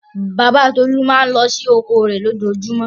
Bàbá Tolú máa ń lọ sí oko rẹ̀ lójoojúmọ́.